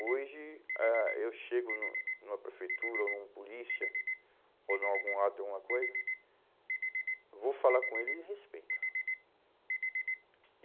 Hoje, ah, eu chego no numa prefeitura, ou num polícia, ou em algum ato, alguma coisa, vou falar com ele e ele respeita.